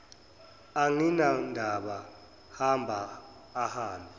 anginandaba hamba ahambe